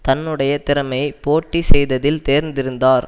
தன்னுடைய திறமை போட்டி செய்ததில் தேர்ந்திருந்தார்